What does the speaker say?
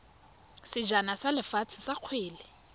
sejana sa lefatshe sa kgwele